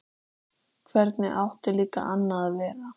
Hvernig átti líka annað að vera?